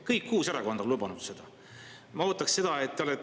Kõik kuus erakonda on lubanud seda!